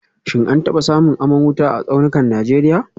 Shin an taba samun aman wuta a tsaunukan Najeriya